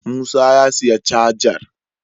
Musa ya siya cajar